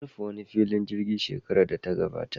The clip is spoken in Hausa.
An rufe wani filin jirgi shekarar data gabata.